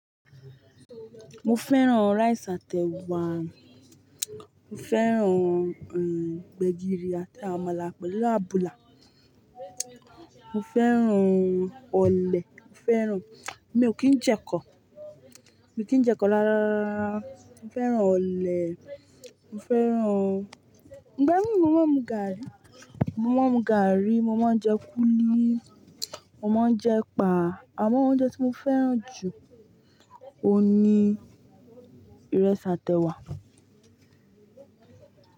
Mo fẹ́ràn rice àti ẹ̀wà, mo fẹ́ràn, gbẹ̀gìrì àti àmàlà pẹ̀lú àbùlà, mo fẹ́ràn ọ̀lẹ̀, mo fẹ́ràn, emi ò kí ń jẹ ekọ, mi ò kí ń jẹ kọ rára, mo fẹ́ràn ọ̀lẹ̀, mo fẹ́ràn-- ìgbẹ́mi mo máa ń mú gààrí, mo má ń mú gààrí, mo má ń jẹ kúlí, mo má ń jẹ ẹ̀pà. Àwọn oúnjẹ tí mo fẹ́ràn jù ni ìrẹsì àti ẹ̀wà.